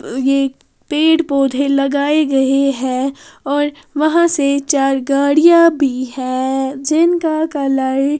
ये पेड़-पौधे लगाए गए हैं और वहाँ से चार गाड़ियां भी हैं जिनका कालर --